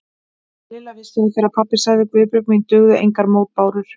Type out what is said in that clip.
Lilla vissi að þegar pabbi sagði Guðbjörg mín dugðu engar mótbárur.